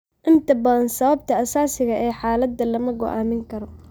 Inta badan sababta asaasiga ah ee xaaladda lama go'aamin karo.